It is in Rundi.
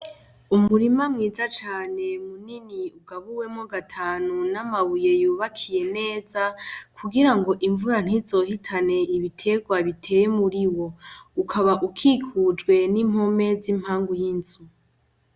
Umurima mwiza cane munini ugabuwemwo gatanu n'amabuye yubakiye neza kugirango imvura ntizohitane ibiterwa biteye muriwo, ukaba ikikijwe n'impome z'impangu yinzu.